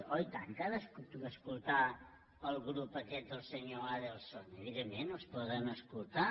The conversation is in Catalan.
oi tant que ha d’escoltar el grup aquest del senyor adelson evidentment els poden escoltar